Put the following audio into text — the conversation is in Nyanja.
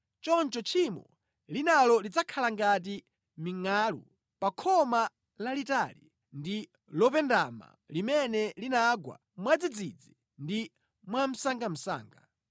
choncho tchimo linalo lidzakhala ngati mingʼalu pa khoma lalitali ndi lopendama limene linagwa mwadzidzidzi ndi mwamsangamsanga.